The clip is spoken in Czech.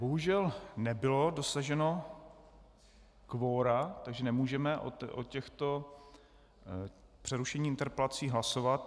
Bohužel nebylo dosaženo kvora, takže nemůžeme o těchto přerušení interpelací hlasovat.